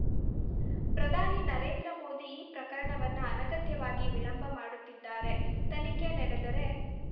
ಪ್ರಧಾನಿ ನರೇಂದ್ರ ಮೋದಿ ಈ ಪ್ರಕರಣವನ್ನ ಅನಗತ್ಯವಾಗಿ ವಿಳಂಬ ಮಾಡುತ್ತಿದ್ದಾರೆ ತನಿಖೆ ನಡೆದರೆ